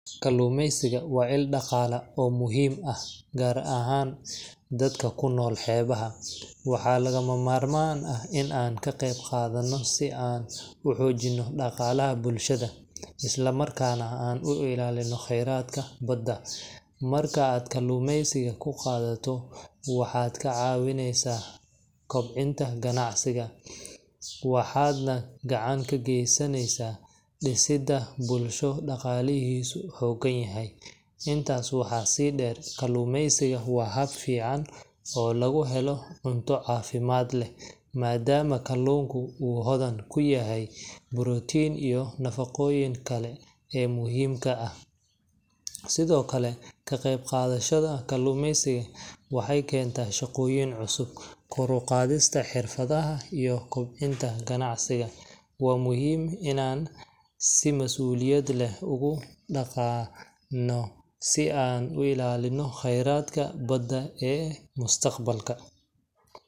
Kaluumeysiga waa il dhaqaale oo muhiim ah, gaar ahaan dadka ku nool xeebaha. Waxaa lagama maarmaan ah in aan ka qayb qaadano si aan u xoojino dhaqaalaha bulshada, isla markaana aan u ilaalino kheyraadka badda. Marka aad kaluumeysiga ku qaadato, waxaad ka caawineysaa kobcinta ganacsiga, waxaadna gacan ka geystaa dhisidda bulsho dhaqaalihiisu xooggan yahay. Intaas waxaa sii dheer, kaluumeysiga waa hab fiican oo lagu helo cunto caafimaad leh, maadaama kalluunka uu hodan ku yahay borotiinka iyo nafaqooyinka kale ee muhiimka ah. Sidoo kale, ka qaybqaadashada kaluumeysiga waxay keentaa shaqooyin cusub, kor u qaadista xirfadaha, iyo kobcinta ganacsiga. Waa muhiim inaan si mas'uuliyad leh ugu dhaqanno si aan u ilaalinno kheyraadka badda ee mustaqbalka.